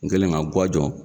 N kɛlen ka ŋa jɔ